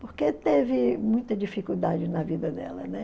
porque teve muita dificuldade na vida dela, né?